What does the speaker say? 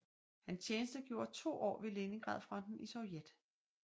Han tjenestegjorde to år ved Leningradfronten i Sovjet